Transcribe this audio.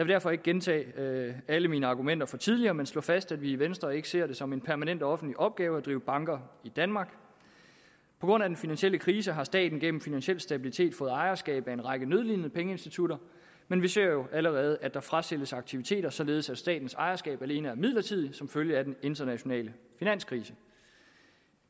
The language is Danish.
derfor ikke gentage alle mine argumenter fra tidligere men slå fast at vi i venstre ikke ser det som en permanent offentlig opgave at drive banker i danmark på grund af den finansielle krise har staten gennem finansiel stabilitet fået ejerskab til en række nødlidende pengeinstitutter men vi ser jo allerede at der frasælges aktiviteter således at statens ejerskab alene er midlertidig som følge af den internationale finanskrise